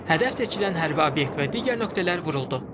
Hədəf seçilən hərbi obyekt və digər nöqtələr vuruldu.